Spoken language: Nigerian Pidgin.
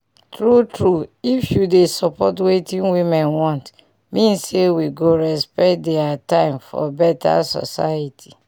tru tru if you dey support wetin women want mean say we go respect dia tim for beta soceity